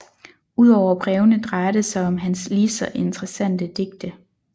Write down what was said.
Ud over brevene drejer det sig om hans lige så interessante digte